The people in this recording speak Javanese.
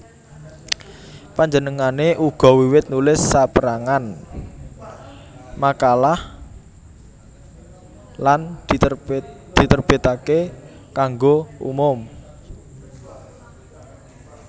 Panjenengané uga wiwit nulis sapérangan makalah lan diterbitaké kanggo umum